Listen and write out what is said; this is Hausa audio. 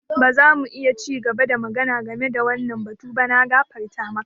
Ba za mu ci gaba da magana game da wannan batu ba. Na gafarta maka.